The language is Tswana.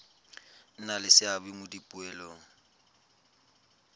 nna le seabe mo dipoelong